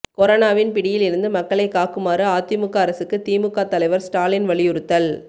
கொரோனாவின் பிடியில் இருந்து மக்களை காக்குமாறு அதிமுக அரசுக்கு திமுக தலைவர் ஸ்டாலின் வலியுறுத்தல்